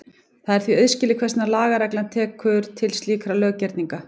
Það er því auðskilið hvers vegna lagareglan tekur til slíkra löggerninga.